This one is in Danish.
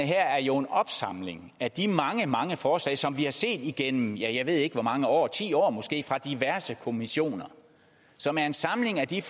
her er jo en opsamling af de mange mange forslag som vi har set igennem ja jeg ved ikke hvor mange år ti år måske fra diverse kommissioner og som er en samling af de